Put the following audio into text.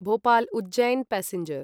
Bhopal Ujjain passenger